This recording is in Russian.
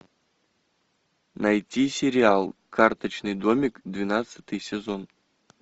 найти сериал карточный домик двенадцатый сезон